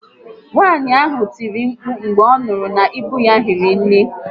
Nwaànyị ahụ tiri mkpu mgbe ọ nụrụ na íbú ya hiri nné